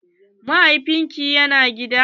Mahaifin ki ya na gida?